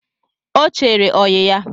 Ọ chere oyi ya